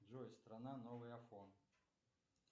джой страна новый афон